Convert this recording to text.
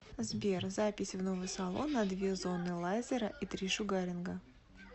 сбер запись в новый салон на две зоны лайзера и три шугаринга